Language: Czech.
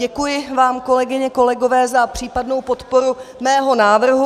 Děkuji vám, kolegyně, kolegové, za případnou podporu mého návrhu.